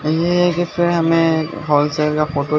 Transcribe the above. ये इसमें हमें होलसेल का फोटो --